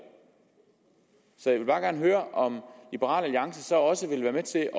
så jeg vil bare gerne høre om liberal alliance også vil være med til